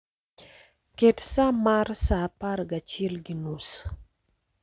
Ket sa mar saa apar gachiel gi nus